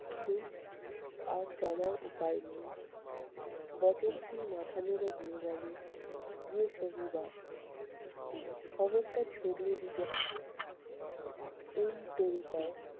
কিছু আর জানার উপায় নেই বচনসুর মাথা নেড়ে বলেন খবরটা ছড়িয়ে দিতে হবে। এই তরিপাড়